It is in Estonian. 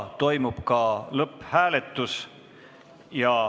Toimub ka lõpphääletus.